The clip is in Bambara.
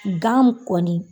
gan kɔni